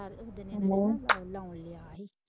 ਆਹੋ ਲਾਉਣ ਦਿਆ ਹੀ।